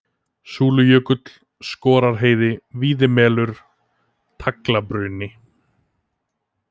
Súlujökull, Skorarheiði, Víðimelur, Taglabruni